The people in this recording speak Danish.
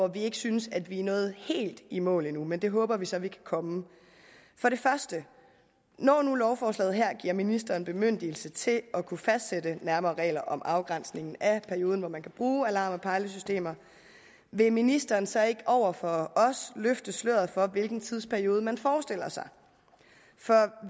vi ikke synes at vi endnu er nået helt i mål med men det håber vi så at vi kan komme for det første når nu lovforslaget her giver ministeren bemyndigelse til at kunne fastsætte nærmere regler om afgrænsningen af perioden hvori man kan bruge alarm og pejlesystemer vil ministeren så ikke over for os løfte sløret for hvilken tidsperiode man forestiller sig for